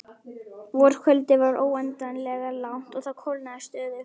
Vorkvöldið var óendanlega langt og það kólnaði stöðugt.